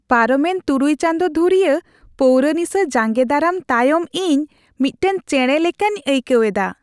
ᱯᱟᱨᱚᱢᱮᱱ ᱖ ᱪᱟᱸᱫᱳ ᱫᱷᱩᱨᱤᱭᱟᱹ ᱯᱟᱹᱣᱨᱟᱹ ᱱᱤᱥᱟ ᱡᱟᱸᱜᱮ ᱫᱟᱨᱟᱢ ᱛᱟᱭᱚᱢ ᱤᱧ ᱢᱤᱫᱴᱟᱝ ᱪᱮᱬᱮ ᱞᱮᱠᱟᱧ ᱟᱹᱭᱠᱟᱹᱣ ᱮᱫᱟ ᱾